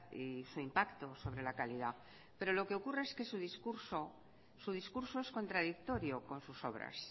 y su impacto sobre la calidad pero lo que ocurre es que su discurso su discurso es contradictorio con sus obras